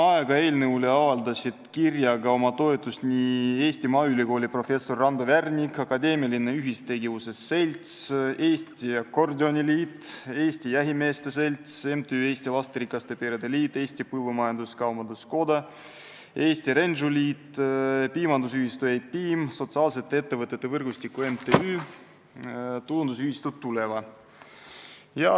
Eelnõule avaldasid kirjaga oma toetust Eesti Maaülikooli professor Rando Värnik, Akadeemiline Ühistegevuse Selts, Eesti Akordioniliit, Eesti Jahimeeste Selts, MTÜ Eesti Lasterikaste Perede Liit, Eesti Põllumajandus-Kaubanduskoda, Eesti Rendžuliit, Piimandusühistu E-Piim, Sotsiaalsete Ettevõtete Võrgustiku MTÜ ja Tulundusühistu Tuleva.